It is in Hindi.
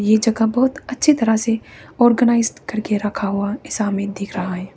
ये जगह बहुत अच्छी तरह से ऑर्गेनाइज करके रखा हुआ दिशा मे दिख रहा है।